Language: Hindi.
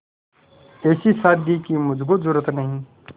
ऐसी शादी की मुझको जरूरत नहीं